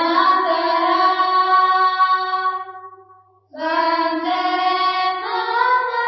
vocal Vande Mataram